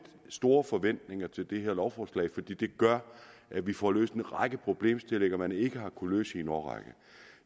store forventninger til det her lovforslag fordi det gør at vi får løst en række problemstillinger man ikke har kunnet løse i en årrække